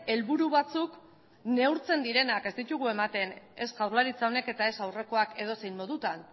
helburu batzuk neurtzen direnak ez ditugu ematen ez jaurlaritza honek eta ez aurrekoak edozein modutan